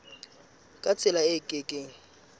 ka tsela e ke keng